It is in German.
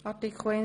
Einzelsprecher